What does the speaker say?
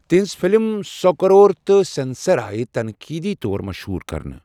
تہنٛزٕ فلمہٕ سو کرور تہٕ سٮ۪نسر آیہِ تنقیٖدی طور مشہوٗر کرنہٕ۔